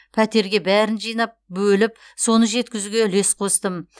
пәтерге бәрін жинап бөліп соны жеткізуге үлес қостым